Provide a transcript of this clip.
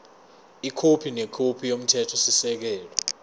ikhophi nekhophi yomthethosisekelo